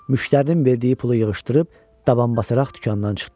Müştərinin verdiyi pulu yığışdırıb daban basaraq dükandan çıxdım.